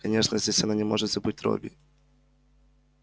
конечно здесь она не может забыть робби